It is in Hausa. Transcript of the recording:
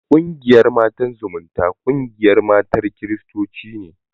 Ƙungiyar Matan Zumunta, ƙungiyar matan kiristoci ce.